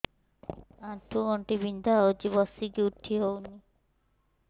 ଆଣ୍ଠୁ ଗଣ୍ଠି ବିନ୍ଧା ହଉଚି ବସିକି ଉଠି ହଉନି